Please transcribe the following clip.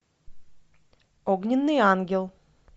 огненный ангел